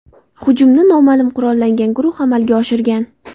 Hujumni noma’lum qurollangan guruh amalga oshirgan.